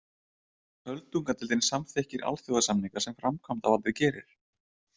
Öldungadeildin samþykkir alþjóðasamninga sem framkvæmdavaldið gerir.